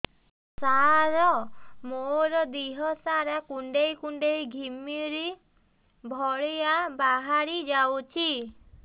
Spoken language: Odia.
ସାର ମୋର ଦିହ ସାରା କୁଣ୍ଡେଇ କୁଣ୍ଡେଇ ଘିମିରି ଭଳିଆ ବାହାରି ଯାଉଛି